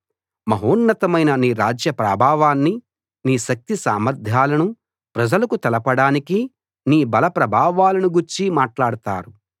మహోన్నతమైన నీ రాజ్య ప్రాభవాన్ని నీ శక్తి సామర్ధ్యాలను ప్రజలకు తెలపడానికి నీ బలప్రభావాలను గూర్చి మాట్లాడతారు